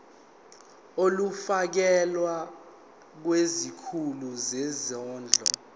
ulifiakela kwisikulu sezondlo